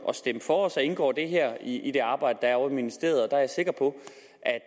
at stemme for og så indgår det her i det arbejde der er ovre i ministeriet der er jeg sikker på